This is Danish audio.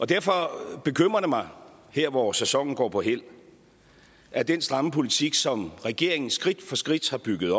derfor bekymrer det mig her hvor sæsonen går på hæld at den stramme politik som regeringen skridt for skridt har bygget